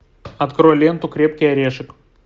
открой ленту крепкий орешек